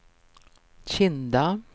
Kinda